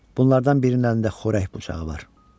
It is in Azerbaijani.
Bunlardan birinin əlində xörək bıçağı var.